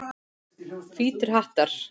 Hvítir hattar.